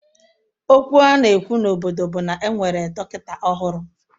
Okwu a na-ekwu n'obodo bụ na e nwere dọkịta ọhụrụ